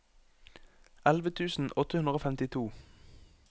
elleve tusen åtte hundre og femtito